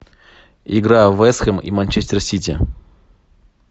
игра вест хэм и манчестер сити